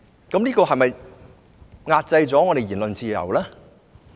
這是否壓制我們的言論自由？